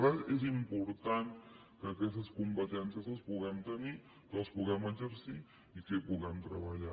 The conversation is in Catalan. per tant és important que aquestes competències les puguem tenir que les puguem exercir i que hi puguem treballar